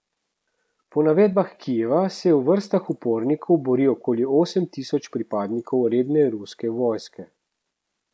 Po navedbah Kijeva se v vrstah upornikov bori okoli osem tisoč pripadnikov redne ruske vojske.